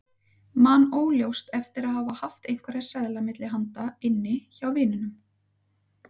Man óljóst eftir að hafa haft einhverja seðla milli handa inni hjá vininum.